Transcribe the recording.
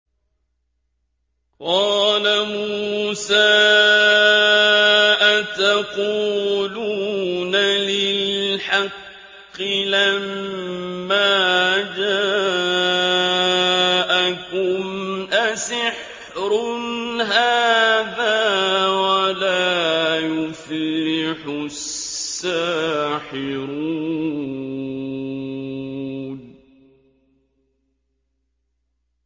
قَالَ مُوسَىٰ أَتَقُولُونَ لِلْحَقِّ لَمَّا جَاءَكُمْ ۖ أَسِحْرٌ هَٰذَا وَلَا يُفْلِحُ السَّاحِرُونَ